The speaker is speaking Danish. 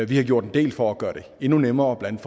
vi har gjort en del for at gøre det endnu nemmere blandt